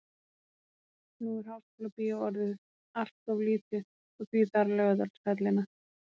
Nú er Háskólabíó orðið allt of lítið og því þarf Laugardalshöllina.